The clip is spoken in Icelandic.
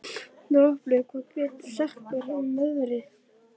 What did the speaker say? Droplaug, hvað geturðu sagt mér um veðrið?